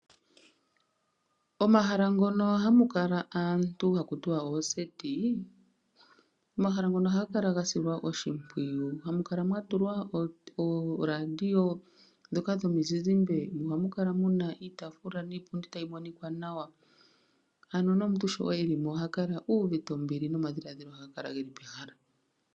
Omahala ngono hamu kala aantu haku tiwa oondunda dhokugondja , omahala ngono ohaga kala gasilwa oshimpwiyu, haga kala gatulwa ooradio ndhoka dhomizizimbe. Ohamu kala muna iitaafula niipundi tayi monika nawa . Ano nomuntu sho eli mo oha kala uuvite ombili nomadhiladhilo geli pehala.